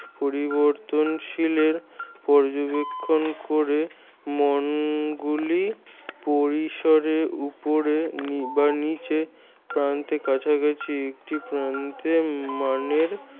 পরিবর্তনশীলের পর্যবেক্ষন করে মাণগুলি পরিসরে উপরে বা নিচে প্রান্তের কাছাকাছি একটি প্রান্তের মানের